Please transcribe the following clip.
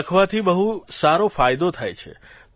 લખવાથી બહુ સારો ફાયદો થાય છે